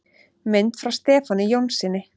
Mynd frá Stefáni Jónssyni.